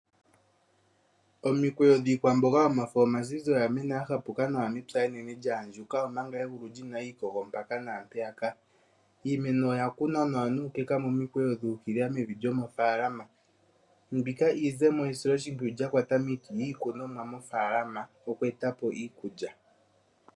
Omikweyo dhiikwamboga yomafo omazizi oya mena ya hapuka nawa mepya enene lya andjuka, omanga egulu lyina iikogo mpaka na mpeyaka. Iimeno oya kunwa nawa nuukeka momikweyo dhu ukilila mevi lyomofalama. Mbika iizemo yesilo shimpwiyu lya kwata miiti miikunomwa mofalama yoku eta po iikulya.